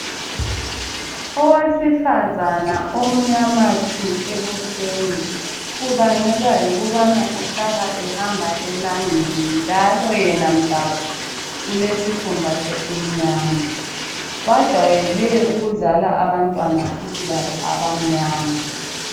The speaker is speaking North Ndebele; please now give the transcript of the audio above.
Owesifazana umnyama tshu ebusweni kubangelwa yikubana uhlala ehamba elangeni njalo yena mdabuko ulesikhumba esimnyama bajwayele ukuzala abantwana futhi labo abamnyama.